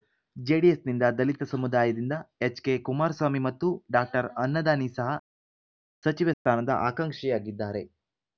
ಜೆಡಿಎಸ್‌ನಿಂದ ದಲಿತ ಸಮುದಾಯದಿಂದ ಎಚ್‌ಕೆಕುಮಾರ್ ಸ್ವಾಮಿ ಮತ್ತು ಡಾಅನ್ನದಾನಿ ಸಹ ಸಚಿವ ಸ್ಥಾನದ ಆಕಾಂಕ್ಷಿಯಾಗಿದ್ದಾರೆ